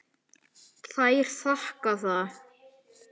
Þær þakka það.